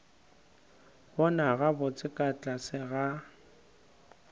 bona gabotse ka tlase ga